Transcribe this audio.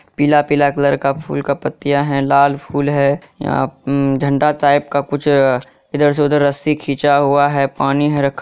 पीला-पीला कलर का फूल का पत्तियां है लाल फूल है यहां उम्म झंडा टाइप का कुछ ईधर से उधर रस्सी खिचा हुआ है पानी है रखा --